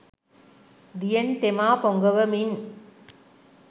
දියෙන් තෙමා පොඟවමින්